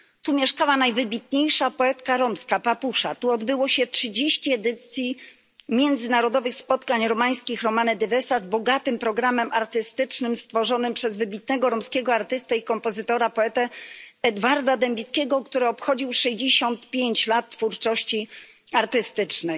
Tu mieszkała najwybitniejsza poetka romska Papusza, tu odbyło się trzydzieści edycji Międzynarodowych Spotkań Zespołów Cygańskich Romane Dyvesa z bogatym programem artystycznym stworzonym przez wybitnego romskiego artystę, kompozytora i poetę Edwarda Dębickiego, który obchodził jubileusz 65 lecia twórczości artystycznej.